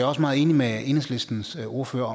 også meget enig med enhedslistens ordfører